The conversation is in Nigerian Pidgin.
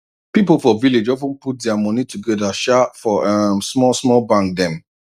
people for village of ten put dia money together sha for um small small bank dem